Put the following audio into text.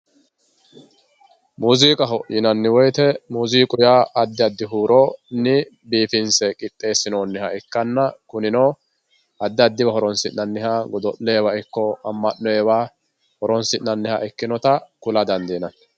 Muuzziqqaho yinanni woyite muuzziqqu yaa adi adi huuronni biifinse qixxeessinoniha ikkanna kunino adi adiwa horonsinanniha godo'lewa ikko ama'noyiwa horonsinanniha ikkinotta kula dandinanni